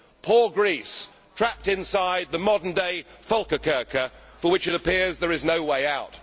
Poor Greece, trapped inside the modern day Völkerkerker for which it appears there is no way out!